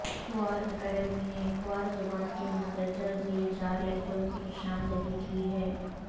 Khowar academy نے کھوار زبان کے مندرجہ زیل چار لہجوں کی نشان دہی کی ہے